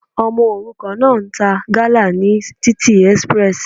Ọmọ òrukàn náà ń ta gala ní títì express.